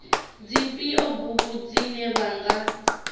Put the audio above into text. dzifhio bugu dzine vha nga